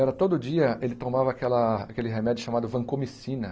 Era todo dia ele tomava aquela aquele remédio chamado vancomicina.